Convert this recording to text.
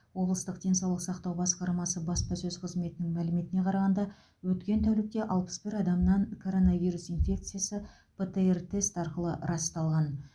облыстық денсаулық сақтау басқармасы баспасөз қызметінің мәліметіне қарағанда өткен тәулікте алпыс бір адамнан коронавирус инфекцясы птр тест арқылы расталған